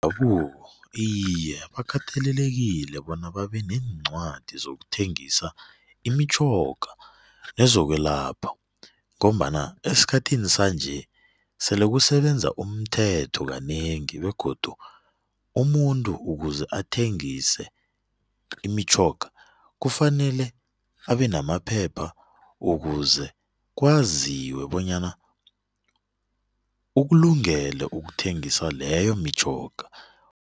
iye, bakatelelekile bona babe neencwadi zokuthengisa imitjhoga ezokwelapha ngombana esikhathini sanje sele kusebenza umthetho kanengi begodu umuntu ukuze athengise imitjhoga kufanele abe namaphepha ukuze kwaziwe bonyana ukulungele ukuthengisa leyo mitjhoga.